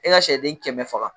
E ka sɛden kɛmɛ faga